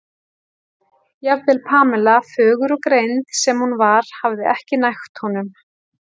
jafnvel Pamela, fögur og greind sem hún var, hafði ekki nægt honum.